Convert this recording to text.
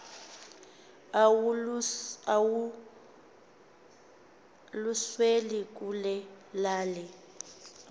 awaluswe kule lali